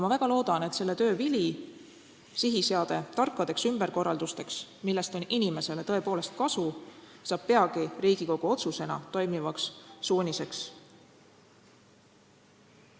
Ma väga loodan, et selle töö vili, sihiseade tarkadeks ümberkorraldusteks, millest on inimesele tõepoolest kasu, saab peagi Riigikogu otsusena toimivaks suuniseks.